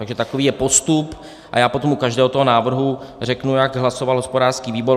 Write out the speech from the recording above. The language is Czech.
Takže takový je postup a já potom u každého toho návrhu řeknu, jak hlasoval hospodářský výbor.